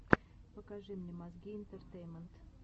покажи мне мозги интертеймент